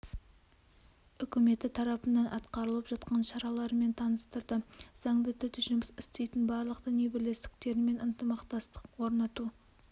үкіметі тарапынан атқарылып жатқан шаралармен таныстырды заңды түрде жұмыс істейтін барлық діни бірлестіктермен ынтымақтастық орнату